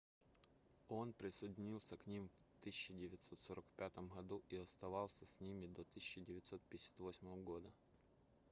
он присоединился к ним в 1945 году и оставался с ними до 1958 года